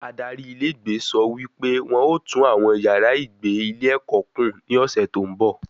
Adarí ilé ìgbé sọ wí pé wọn ó tùn àwọn yàrá ìgbé ilé ẹ̀kọ́ kùn ní ọ̀sẹ̀ tó ń bọ̀